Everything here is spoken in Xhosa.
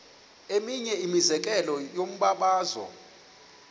eminye imizekelo yombabazo